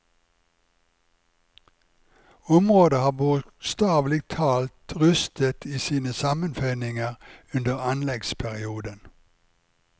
Området har bokstavelig talt rystet i sine sammenføyninger under anleggsperioden.